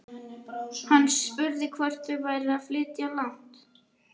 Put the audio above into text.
Hann spurði hvort þau væru að flytja langt.